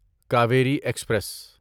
Kaveri express